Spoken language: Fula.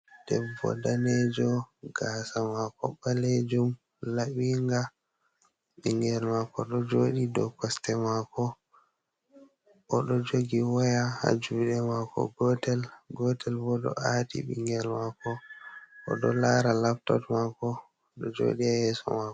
Debbo danejo gasa mako ɓalejum, laɓinga. Ɓingel mako ɗo joɗi dou koste mako, odo jogi waya ha juɗe mako gotel, gotel bo ɗo ati ɓingel mako, oɗo lara laptop mako do joɗi ha yeso mako.